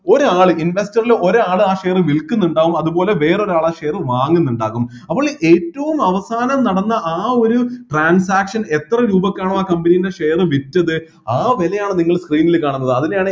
ഒരാള് investor ല് ഒരാള് ആ share വിൽക്കുന്നുണ്ടാവും അതുപോലെ വേറെ ഒരാള് ആ share വാങ്ങുന്നുണ്ടാകും അപ്പോള് ഏറ്റവും അവസാനം നടന്ന ആ ഒരു transaction എത്ര രൂപക്കാണോ ആ company ൻ്റെ share വിറ്റത് ആ വിലയാണ് നിങ്ങൾ screen ൽ കാണുന്നത് അതിനെയാണ്